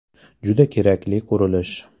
Juda kerakli qurilish.